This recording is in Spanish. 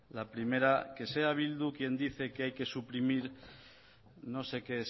la primera que sea bildu quien dice que hay que suprimir no sé qué